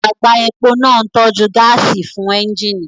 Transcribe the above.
Àgbá epo náà ń tọ́jú gáàsì fún ẹ́ńjíìnì